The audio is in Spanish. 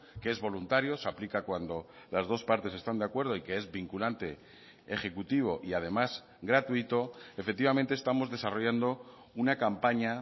que es voluntario se aplica cuando las dos partes están de acuerdo y que es vinculante ejecutivo y además gratuito efectivamente estamos desarrollando una campaña